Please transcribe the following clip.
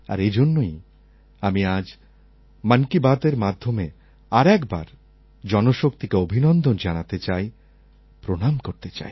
আর এজন্যই আমি আজ মন কি বাতএর মাধ্যমে আর একবার জনশক্তিকে অভিনন্দন জানাতে চাই প্রণাম করতে চাই